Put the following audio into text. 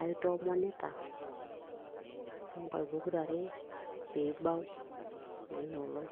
aitoomonita toonkaik pokirare piibau naa inoolong.